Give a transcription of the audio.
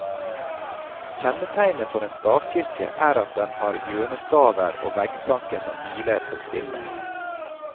Kjennetegnet for en stavkirke er at den har hjørnestaver og veggplanker som hviler på sviller.